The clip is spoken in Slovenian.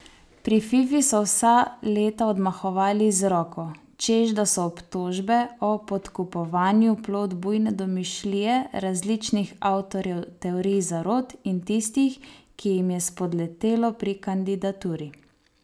Pri Fifi so vsa leta odmahovali z roko, češ da so obtožbe o podkupovanju plod bujne domišljije različnih avtorjev teorij zarot in tistih, ki jim je spodletelo pri kandidaturi.